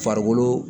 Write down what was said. Farikolo